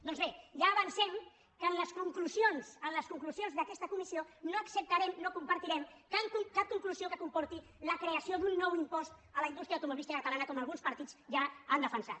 doncs bé ja avancem que en les conclusions en les conclusions d’aquesta comissió no acceptarem no compartirem cap conclusió que comporti la creació d’un nou impost a la indústria automobilística catalana com alguns partits ja han defensat